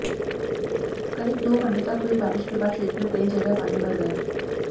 करीब दो घंटे तक हुई बारिश के बाद क्षेत्र में कई जगह पानी भर गया